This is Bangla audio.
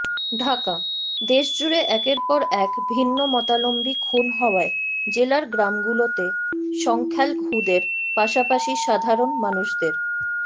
ঢাকাঃ দেশজুড়ে একের পর এক ভিন্নমতালম্বী খুন হওয়ায় জেলার গ্রামগুলোতে সংখ্যালঘুদের পাশাপাশি সাধারণ মানুষদের